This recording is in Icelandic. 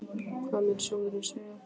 Hvað mun sjóðurinn segja?